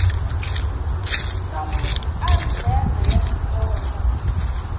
tsanwisi ari nhenha ya xitsonga